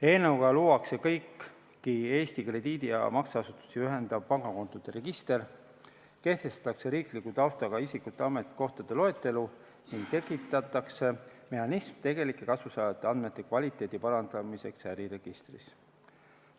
Eelnõuga luuakse Eesti krediidi- ja makseasutusi ühendav pangakontode register, kehtestatakse riikliku taustaga isikute ametikohtade loetelu ning tekitatakse mehhanism tegelike kasusaajate andmete kvaliteedi parandamiseks äriregistris.